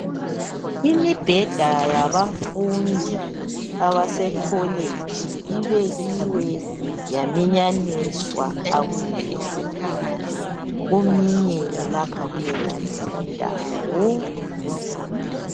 Imibheda yabafundi abasekholeji ibekiwe yaminyaniswa. Akukuhle sibile, kuminyene lapha kuyonale indawo.